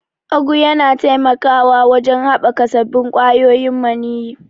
Ugu yana taimakawa wajen haɓaka sabbin ƙwayoyin maniyyi.